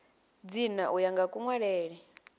dzina u ya nga kunwalele